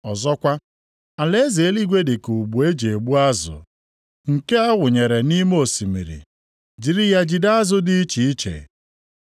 “Ọzọkwa, alaeze eluigwe dị ka ụgbụ e ji egbu azụ, nke a wụnyere nʼime osimiri, jiri ya jide azụ dị iche iche.